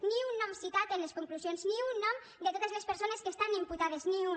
ni un nom citat en les conclusions ni un nom de totes les persones que estan imputades ni un